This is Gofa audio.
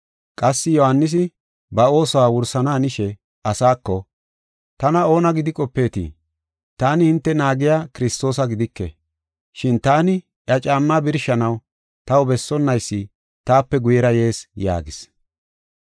Qassi Yohaanisi ba oosuwa wursana hanishe asaako, ‘Tana oona gidi qopeetii? Taani hinte naagiya Kiristoosa gidike, shin taani iya caammaa birshanaw taw bessonnaysi taape guyera yees’ yaagis.